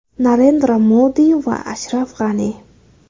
Narendra Modi va Ashraf G‘ani.